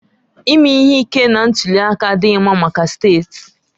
Ime ihe ike na ntuli aka adịghị mma maka steeti